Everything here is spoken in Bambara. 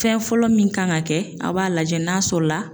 Fɛn fɔlɔ min kan ka kɛ , a b'a lajɛ n'a sɔrɔ la